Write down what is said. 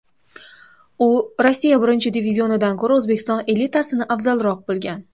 U Rossiya birinchi divizionidan ko‘ra, O‘zbekiston elitasini afzalroq bilgan.